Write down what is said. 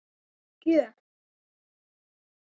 Þvílík gjöf.